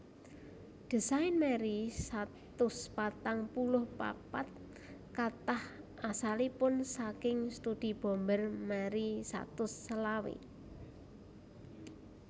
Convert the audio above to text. Désain Marry satus patang puluh papat katah asalipun saking studi bomber Marry satus selawe